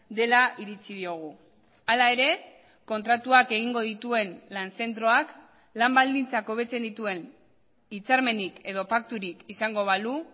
dela iritzi diogu hala ere kontratuak egingo dituen lan zentroak lan baldintzak hobetzen dituen hitzarmenik edo pakturik izango balu